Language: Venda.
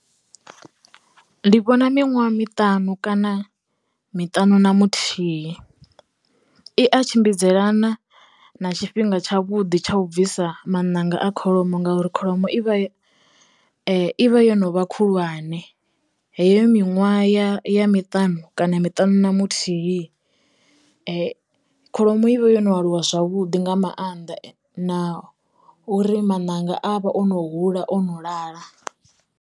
Ndi vhona miṅwaha miṱanu kana miṱanu na muthihi, i a tshimbidzelana na tshifhinga tsha vhuḓi tsha u bvisa maṋanga a kholomo ngauri kholomo i vha ivha yo novha khulwane. Heyo miṅwaha ya miṱanu kana miṱanu na muthihi, kholomo i vha yo no aluwa zwavhuḓi nga maanḓa na uri maṋanga a vha o no hula o no lala.